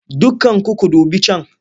Dukkanku ku dubi can!